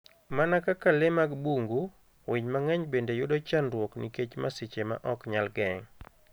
Mana kaka le mag bungu, winy mang'eny bende yudo chandruok nikech masiche ma ok nyal geng'.